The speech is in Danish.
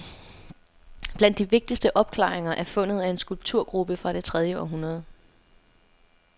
Blandt de vigtigste opklaringer er fundet af en skulpturgruppe fra det tredje århundrede.